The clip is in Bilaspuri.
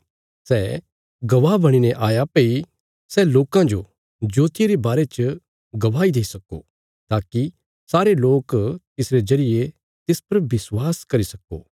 सै गवाह बणीने आया भई सै लोकां जो ज्योतिया रे बारे च गवाही देई सक्को ताकि सारे लोक तिसरे जरिये तिस पर विश्वास करी सक्को